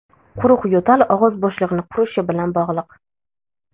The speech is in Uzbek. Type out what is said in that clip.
Quruq yo‘tal og‘iz bo‘shlig‘ini qurishi bilan bog‘liq.